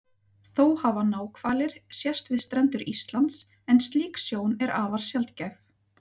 Þó hafa náhvalir sést við strendur Íslands en slík sjón er afar sjaldgæf.